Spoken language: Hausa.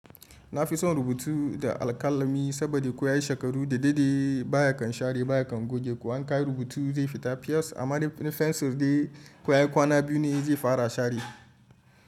Na fi son rubutu da alƙalami saboda ko ya yi shekaru da daidai baya kan share baya kan goge. Ko an kawo rubutu zai fita fiyes amma da fensir dai ko ya yi kwana biyu ne zai fara share.